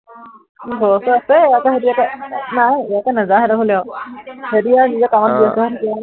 ঘৰৰ ওচৰৰ আছে, আকৌ সিহঁতি আকৌ, নাই এতিয়া নাযাওঁ সিহঁতৰ ঘৰলে আও, সিহঁতি আও নিজৰ কামত ব্য়স্ত হৈ থাকে আ্ৰৰু